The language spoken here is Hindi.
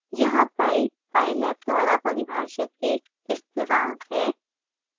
यहाँ pi pylab द्वारा परिभाषित एक स्थिरांक है